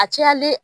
A cayalen